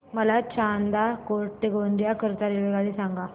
मला चांदा फोर्ट ते गोंदिया करीता रेल्वेगाडी सांगा